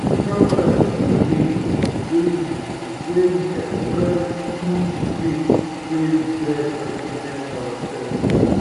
personal style be di way wey we wey we express ourselves through di way wey we dress and present ourselves.